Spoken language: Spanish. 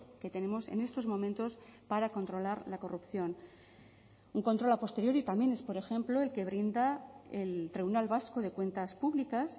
que tenemos en estos momentos para controlar la corrupción un control a posteriori también es por ejemplo el que brinda el tribunal vasco de cuentas públicas